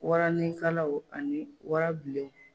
Waranikalaw ani warabilenw